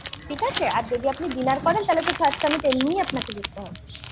ঠিক আছে? আর যদি আপনি dinner করেন তাহলে তো third summit এমনিই আপনাকে যেতে হবে